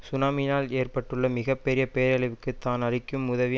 சுனாமியினால் ஏற்பட்டுள்ள மிக பெரிய பேரழிவுக்கு தான் அளிக்கும் உதவியை